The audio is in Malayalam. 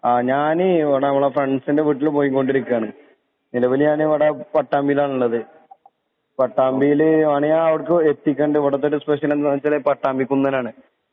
ആ ഞാന് ഇവടെ നമ്മളെ ഫ്രണ്ട്സിൻ്റെ വീട്ടില് പോയി കൊണ്ടിരിക്കാണ് നിലവില് ഞാനിവിടെ പാട്ടാമ്പീലാണ്ള്ളത് പട്ടാമ്പീല് വാണെ ഞാൻ എത്തിക്കണ്ട് ഇവടത്തൊരു സ്പെഷ്യലെന്താന്ന് വെച്ചാല് പട്ടാമ്പിക്കുന്നനാണ്